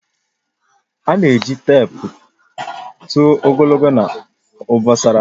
A na-eji teepu tụọ ogologo na obosara.